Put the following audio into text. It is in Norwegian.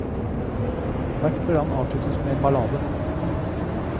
Hvert program avsluttes med en ballade.